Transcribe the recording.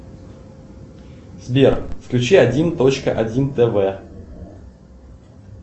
сбер включи один точка один тв